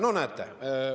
No näete.